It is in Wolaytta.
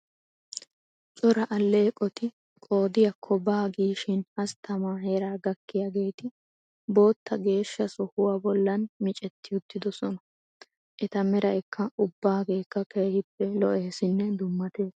Cora alleeqoti qoodiyakko baa giishi hasttamaa heeraa gakkiyageeti bootta geeshsha sohuwa bollan micetti uttidosona. Eta meray ubbaageekka keehippe lo'eesinne dummatees.